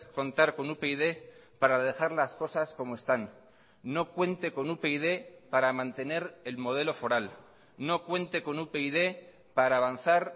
contar con upyd para dejar las cosas como están no cuente con upyd para mantener el modelo foral no cuente con upyd para avanzar